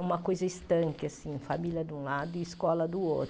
uma coisa estanque assim, família de um lado e escola do outro.